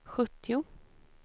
sjuttio